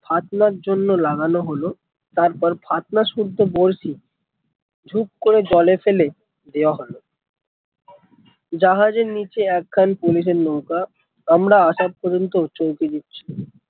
ফাত্নার জন্য লাগানো হলো তারপর ফাত্না শুদ্ধ বড়শি ঝুপ করে জলে ফেলে দেওয়া হলো জাহাজের নিচে এক খান পুলিসের নৌকা আমরা আসা পর্যন্ত চৌকিদিচ্ছে